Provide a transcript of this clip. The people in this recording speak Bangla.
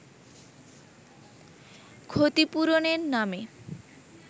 ক্ষতিপূরণের নামে